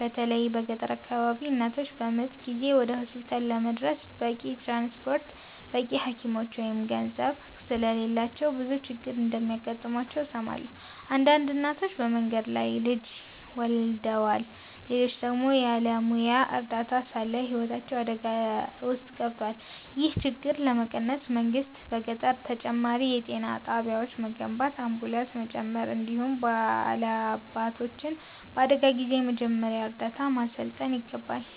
በተለይ በገጠር አካባቢዎች እናቶች በምጥ ጊዜ ወደ ሆስፒታል ለመድረስ በቂ ትራንስፖርት፣ በቂ ሐኪሞች ወይም ገንዘብ ስለሌላቸው ብዙ ችግር እንደሚገጥማቸው እሰማለሁ። አንዳንድ እናቶች በመንገድ ላይ ልጅ ወልደዋል፣ ሌሎች ደግሞ ያለ ሙያዊ እርዳታ ሳለ ሕይወታቸው አደጋ ውስጥ ገብቷል። ይህን ችግር ለመቀነስ መንግሥት በገጠር ተጨማሪ የጤና ጣቢያዎችን መገንባት፣ አምቡላንስ መጨመር፣ እንዲሁም ባላባቶችን በአደጋ ጊዜ የመጀመሪያ እርዳታ ማሠልጠን ይገባል።